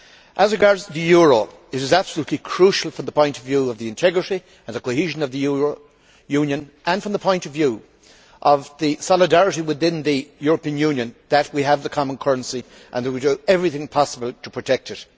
As regards the euro, it is absolutely crucial, from the point of view of the integrity and the cohesion of the Union, and from the point of view of solidarity within the European Union, that we have the common currency and that we do everything possible to protect it.